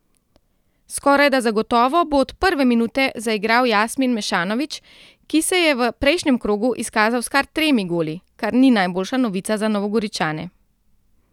Skorajda zagotovo bo od prve minute zaigral Jasmin Mešanović, ki se je v prejšnjem krogu izkazal s kar tremi goli, kar ni najboljša novica za Novogoričane.